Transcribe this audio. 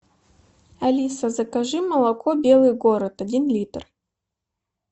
алиса закажи молоко белый город один литр